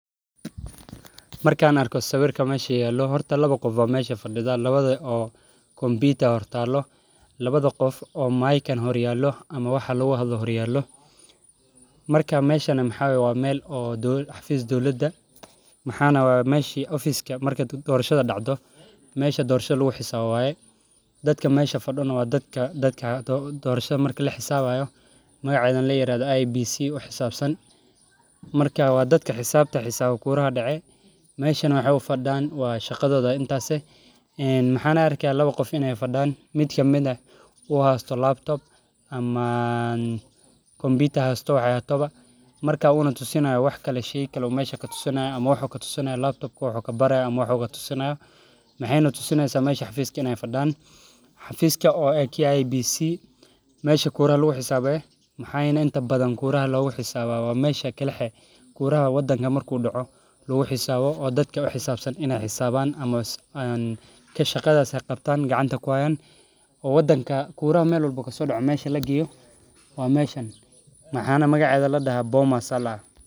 Markan arko sawirka mesha yalo waxan arki haya lawa qof oo computer hayo marka waa xafiska magacedana layirahdo in ee dadka xisaban shaqadoda aya sas ah marka muxuu tusi haya wax xafiska ee kuraha lagu xisaabo oo wadanka meshi kura kadaco lagu xisabo waye magacedana maxaa ladaha bomas waa meel aad u fican sanad walbo geedkan aaya larawa waa meel aad u fican shaqada badana marki kuraha aya laqabta wana jeclahay in aa ushaqeyo aniga.